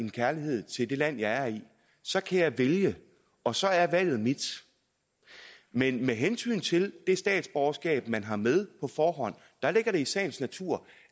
en kærlighed til det land jeg er i så kan jeg vælge og så er valget mit men med hensyn til det statsborgerskab man har med på forhånd ligger det i sagens natur